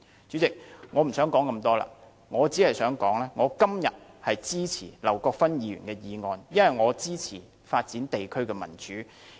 主席，我不想多說，我只想說我今天支持劉國勳議員的議案，因為我支持發展地區的民主。